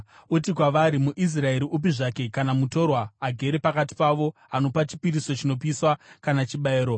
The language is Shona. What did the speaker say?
“Uti kwavari: ‘MuIsraeri upi zvake kana mutorwa agere pakati pavo anopa chipiriso chinopiswa kana chibayiro